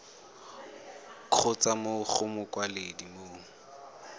kgotsa mo go mokwaledi mo